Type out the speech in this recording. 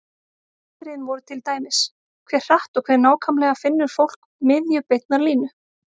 Atriðin voru til dæmis: Hve hratt og hve nákvæmlega finnur fólk miðju beinnar línu?